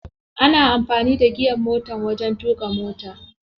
Ana amfani da giyar motar wajen tuƙa mota.